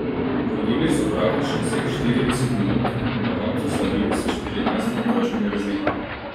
Vodili so praktično vseh štirideset minut in na koncu slavili s štirinajstimi točkami razlike.